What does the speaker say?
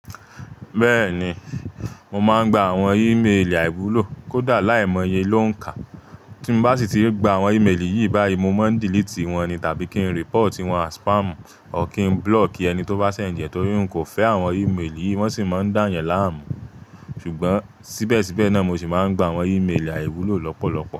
Bẹ́ẹ̀ni, mo máa ń gba àwọn e-mail àìwúlò kódà láìmọye ló ń kà. Tí mo bá sì ti gba àwọn e-mail yìí báyìí, mo máa ń delete wọn ni tàbí kí n report wọn à spam ọ́ kí n block ẹni tó bá send, nítorí n kò fẹ́ àwọn e-mail yìí, wọ́n sì máa ń dà yẹn láàmú. Ṣùgbọ́n síbẹ̀síbẹ̀ náà mo sì máa ń gba àwọn e-mail àìwúlò lọ́pọ̀lọpọ̀.